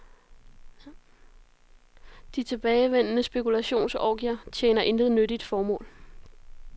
De tilbagevendende spekulationsorgier tjener intet nyttigt formål.